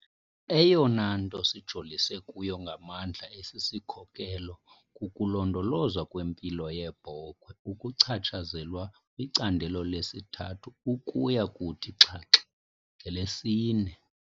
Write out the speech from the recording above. Eyona nto sijolise kuyo ngamandla esi sikhokelo kukulondolozwa kwempilo yeebhokhwe okuchatshazelwa kwicandelo lesi-3 ukuya kuthi xhaxhe ngelesi-4.